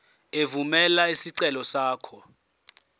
evumela isicelo sakho